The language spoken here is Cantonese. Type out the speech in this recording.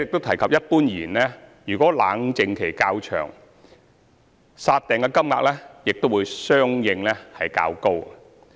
此外，一般而言，如果冷靜期較長，"殺訂"金額亦會相應較高。